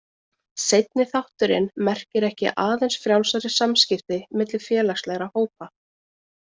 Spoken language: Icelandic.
Seinni þátturinn merkir ekki aðeins frjálsari samskipti milli félagslegra hópa.